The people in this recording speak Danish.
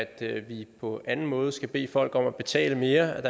at vi på anden måde skal bede folk om at betale mere